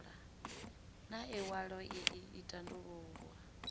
na iwalo ii i tandulula